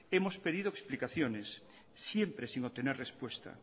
hemos pedido explicaciones siempre sin obtener respuesta